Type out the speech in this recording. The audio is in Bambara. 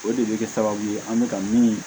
O de bɛ kɛ sababu ye an bɛ ka min